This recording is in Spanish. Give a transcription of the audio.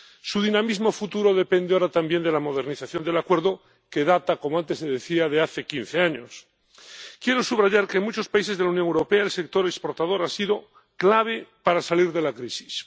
Su dinamismo futuro depende ahora también de la modernización del Acuerdo, que data, como antes decía, de hace quince años. Quiero subrayar que, en muchos países de la Unión Europea, el sector exportador ha sido clave para salir de la crisis.